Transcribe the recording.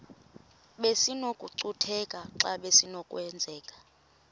besinokucutheka xa besinokubenzela